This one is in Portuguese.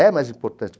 É mais importante.